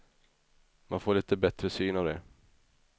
Man får lite bättre syn av det.